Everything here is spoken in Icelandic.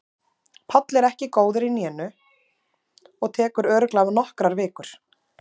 Páll er ekki góður í hnénu og það tekur örugglega nokkrar vikur.